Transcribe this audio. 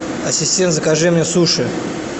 ассистент закажи мне суши